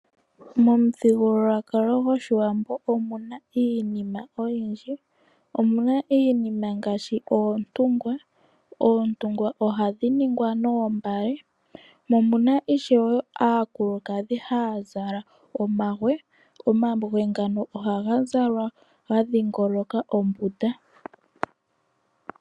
Momuthigululwakalo gwaawambo omuna iinima oyindji. Omuna iinima ngaashi oontungwa, oontungwa ohadhi ningwa noombale, mo omuna ishewe aakulukadhi haya zala omagwe, omagwe ngano ohaga zalwa ga dhingoloka ombunda.